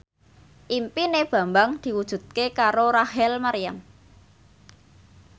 impine Bambang diwujudke karo Rachel Maryam